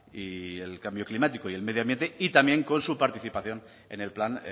y el cambio climático y el medio ambiente y también con su participación en el plan